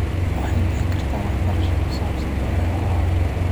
Waxay bixin kartaa waxbarasho ku saabsan beeraha waara.